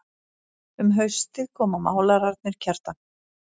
Um haustið koma málararnir Kjartan